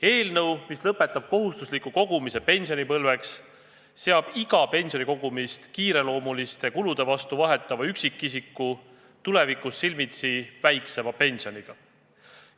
Seadus, mis lõpetab kohustusliku kogumise pensionipõlveks, seab iga pensionikogumise kiireloomuliste kulude katmise vastu vahetava üksikisiku tulevikus silmitsi väiksema pensioniga.